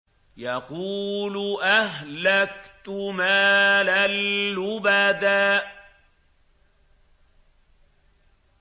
يَقُولُ أَهْلَكْتُ مَالًا لُّبَدًا